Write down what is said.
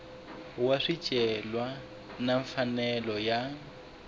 wa swicelwa na mfanelo ya